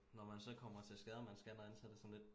Når man så kommer til skade og man skal noget andet så det sådan lidt